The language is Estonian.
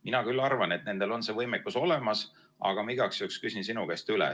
Mina küll arvan, et nendel on see võimekus olemas, aga ma igaks juhuks küsin sinu käest üle.